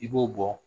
I b'o bɔ